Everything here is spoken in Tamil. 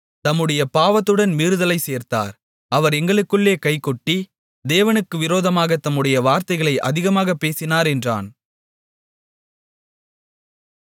தம்முடைய பாவத்துடன் மீறுதலைச் சேர்த்தார் அவர் எங்களுக்குள்ளே கைகொட்டி தேவனுக்கு விரோதமாகத் தம்முடைய வார்த்தைகளை அதிகமாகப் பேசினார் என்றான்